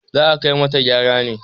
za a kai mata gara ne!